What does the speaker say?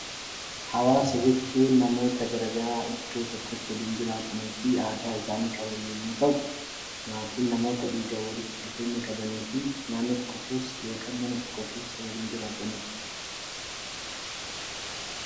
Hawaasa jechuun namoota garaagaraa iddoo tokkotti waliin jiraatanii fi aadaa waliin jiraatan yemmuu ta'u, maatii namoota dhiigaan walitti dhufeenya qabanii fi naannoo tokko keessa yookiin mana tokko keessa jiraatanidha.